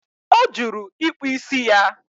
O juru ịkpụ ísì ya